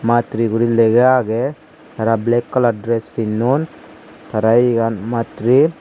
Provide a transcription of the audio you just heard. matri guri lega agey tara black kalar dress pinnon tara iyegan matri.